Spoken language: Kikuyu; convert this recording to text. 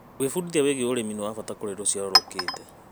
Gwĩbundithia wĩgiĩ ũrĩmi nĩ wa bata kũrĩ rũciaro rũkĩte.